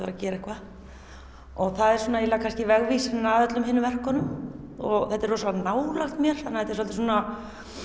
að gera eitthvað og það er svona eiginlega vegvísirinn að öllum hinum verkunum og þetta er rosalega nálægt mér þannig að þetta er svolítið svona